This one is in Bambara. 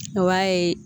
O y'a ye